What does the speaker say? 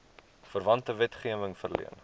verwante wetgewing verleen